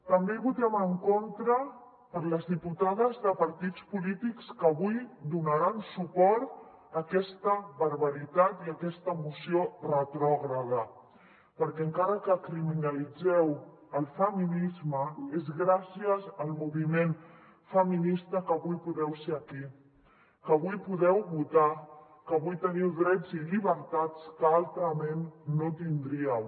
també hi votem en contra per les diputades de partits polítics que avui donaran suport a aquesta barbaritat i a aquesta moció retrògrada perquè encara que criminalitzeu el feminisme és gràcies al moviment feminista que avui podeu ser aquí que avui podeu votar que avui teniu drets i llibertats que altrament no tindríeu